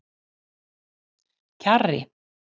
Kjarri